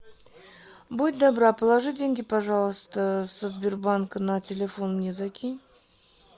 будь добра положи деньги пожалуйста со сбербанка на телефон мне закинь